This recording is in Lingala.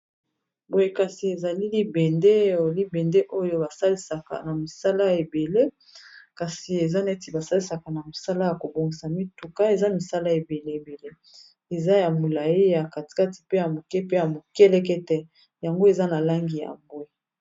Boye kasi ezali libende ya libende oyo basalisaka na misala ebele kasi eza neti basalisaka na misala ya kobongisa mituka eza misala ebele ebele eza ya molayi ya katikati pe ya moke pe ya mokelekete yango eza na langi ya mbwe.